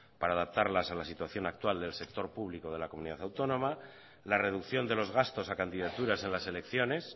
para adaptarlas a las situación actual del sector público de la comunidad autónoma la reducción de los gastos a candidaturas en las elecciones